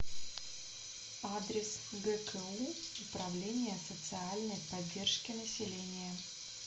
адрес гку управление социальной поддержки населения